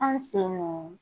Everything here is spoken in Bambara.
Anw fe yen nɔ